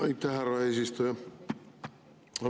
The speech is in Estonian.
Aitäh, härra eesistuja!